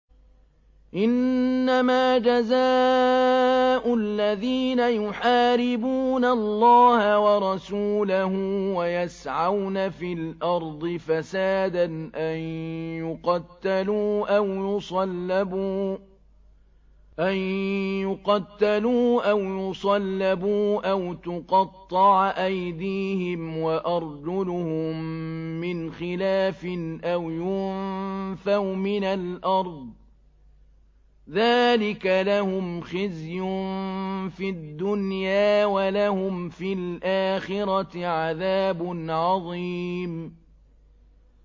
إِنَّمَا جَزَاءُ الَّذِينَ يُحَارِبُونَ اللَّهَ وَرَسُولَهُ وَيَسْعَوْنَ فِي الْأَرْضِ فَسَادًا أَن يُقَتَّلُوا أَوْ يُصَلَّبُوا أَوْ تُقَطَّعَ أَيْدِيهِمْ وَأَرْجُلُهُم مِّنْ خِلَافٍ أَوْ يُنفَوْا مِنَ الْأَرْضِ ۚ ذَٰلِكَ لَهُمْ خِزْيٌ فِي الدُّنْيَا ۖ وَلَهُمْ فِي الْآخِرَةِ عَذَابٌ عَظِيمٌ